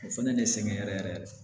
O fɛnɛ de sɛgɛn yɛrɛ yɛrɛ